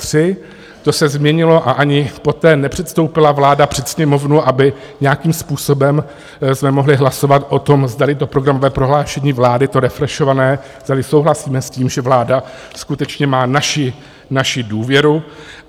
To se změnilo a ani poté nepředstoupila vláda před Sněmovnu, aby nějakým způsobem jsme mohli hlasovat o tom, zdali to programové prohlášení vlády, to refrešované, zdali souhlasíme s tím, že vláda skutečně má naši důvěru.